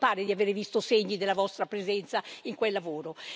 Non mi pare di avere visto segni della vostra presenza in quel lavoro.